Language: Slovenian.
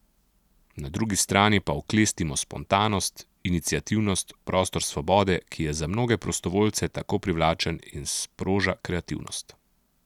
Na drugi strani pa oklestimo spontanost, iniciativnost, prostor svobode, ki je za mnoge prostovoljce tako privlačen in sproža kreativnost.